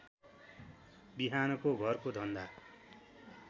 बिहानको घरको धन्दा